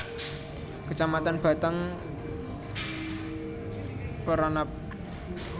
Kecamatan Batang Peranap